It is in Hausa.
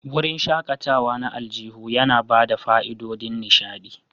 Wurin shakatawa na aljihu yana ba da fa'idodin nishaɗi.